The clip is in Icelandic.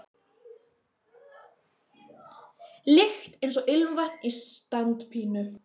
lykt eins og ilmvatn á standpínu.